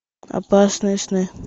опасные сны